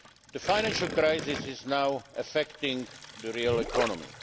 The financial crisis is now affecting the real economy.